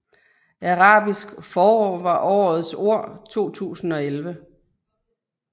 Arabisk forår var årets ord 2011